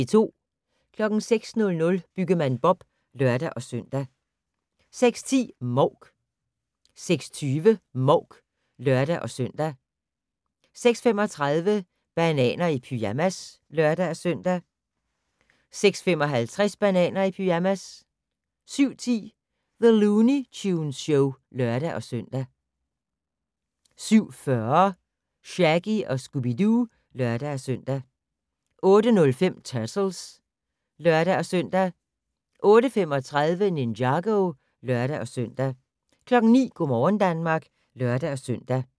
06:00: Byggemand Bob (lør-søn) 06:10: Mouk 06:20: Mouk (lør-søn) 06:35: Bananer i pyjamas (lør-søn) 06:55: Bananer i pyjamas 07:10: The Looney Tunes Show (lør-søn) 07:40: Shaggy & Scooby-Doo (lør-søn) 08:05: Turtles (lør-søn) 08:35: Ninjago (lør-søn) 09:00: Go' morgen Danmark (lør-søn)